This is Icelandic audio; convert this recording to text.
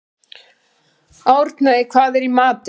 Árney, hvað er í matinn?